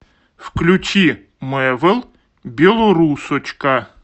включи мэвл белорусочка